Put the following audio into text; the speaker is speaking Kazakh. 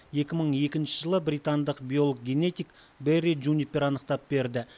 екі мың екінші жылы британдық биолог генетик бэрри джунипер анықтап берді